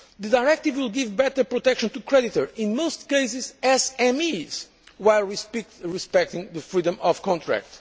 The directive will give better protection to creditors, in most cases SMEs, while respecting the freedom of